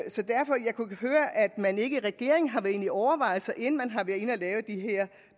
man ikke i regeringen har været inde i overvejelser inden man har lavet de her